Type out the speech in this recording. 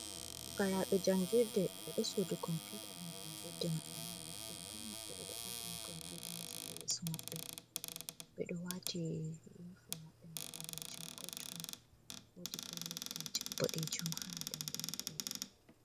Fukarabe jangirde, ɓe do sudu Computa ɗum jangirde mabɓe man, ɓe pat mabɓe be do ardini computa ji ha yeso mabɓe, ɓedo wati yunufum mabɓe me balejum kottuɗum, wodi bo nettai ji bodejum ha danɗe mabbe.